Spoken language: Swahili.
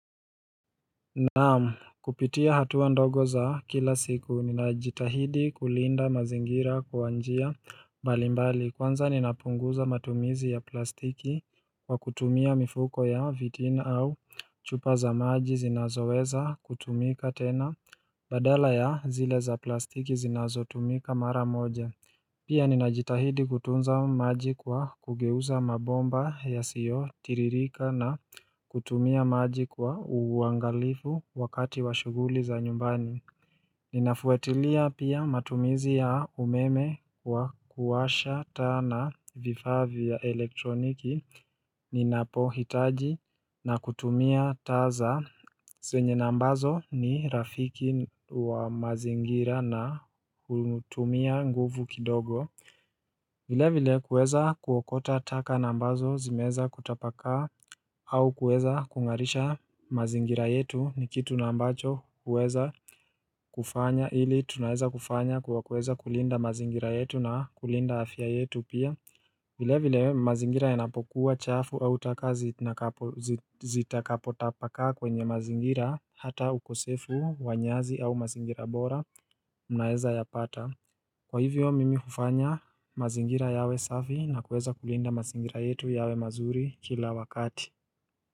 Naam kupitia hatua ndogo za kila siku ninajitahidi kulinda mazingira kwa njia mbalimbali kwanza ninapunguza matumizi ya plastiki kwa kutumia mifuko ya vitina au chupa za maji zinazoweza kutumika tena badala ya zile za plastiki zinazotumika mara moja Pia ninajitahidi kutunza maji kwa kugeuza mabomba yasiyo tiririka na kutumia maji kwa uangalifu wakati wa shuguli za nyumbani. Ninafuatilia pia matumizi ya umeme wa kuwasha taa na vifaa vya elektroniki. Ni napo hitaji na kutumia taa za zenye na ambazo ni rafiki wa mazingira na kutumia nguvu kidogo vile vile kueza kuokota taka na ambazo zimeza kutapakaa au kuweza kungarisha mazingira yetu ni kitu na ambacho huweza kufanya Ili tunaeza kufanya kuwa kuweza kulinda mazingira yetu na kulinda afya yetu pia vile vile mazingira ya napokuwa chafu au taka zi na zitakapotapakaa kwenye mazingira hata ukosefu, wanyazi au mazingira bora, mnaeza yapata. Kwa hivyo mimi hufanya mazingira yawe safi na kuweza kulinda mazingira yetu yawe mazuri kila wakati.